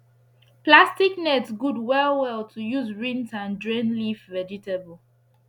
plastic net good well well to use rinse and drain leaf vegetable